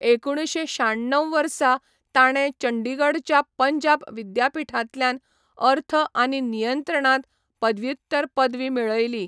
एकुणशे शाण्णव वर्सां ताणें चंडीगढच्या पंजाब विद्यापीठांतल्यान अर्थ आनी नियंत्रणांत पदव्युत्तर पदवी मेळयली.